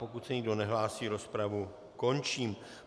Pokud se nikdo nehlásí, rozpravu končím.